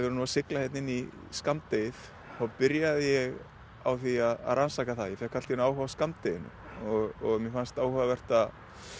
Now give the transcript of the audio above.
erum að sigla inn í skammdegið þá byrjaði ég á því að rannsaka það ég fékk allt í einu áhuga á skammdeginu mér fannst áhugavert